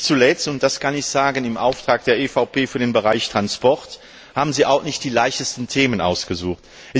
Und nicht zuletzt und das kann ich im Auftrag der EVP für den Bereich Transport sagen haben Sie sich auch nicht die leichtesten Themen ausgesucht.